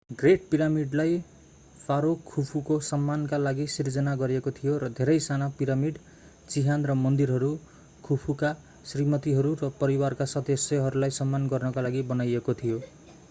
great पिरामिडलाई pharaoh खुफुको सम्मानका लागि सिर्जना गरिएको थियो र धेरै साना पिरामिड चिहान र मन्दिरहरू खुफुका श्रीमतीहरू र परिवारका सदस्यहरूलाई सम्मान गर्नका लागि बनाइएको थियो